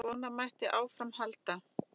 Svona mætti áfram halda.